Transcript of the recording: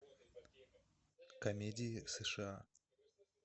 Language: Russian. комедии сша